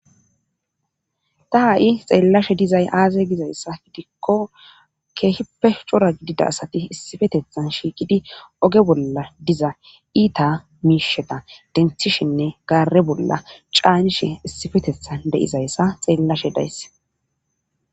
Ta ha'i xeellashe dizay aaze gizayssa gidikko keehippe cora gidida asati issifetethan shiiqidi oge bolla diza iita miisheta denthishinne gaare bolla caanishe issifetethan deizayssa xeellashe daysse.